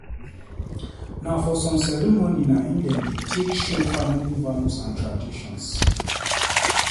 Na for some ceremony na im dem dey take show family values and traditions.